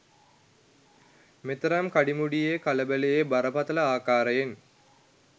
මෙතරම් කඩිමුඩියේ කලබලයේ බරපතල ආකාරයෙන්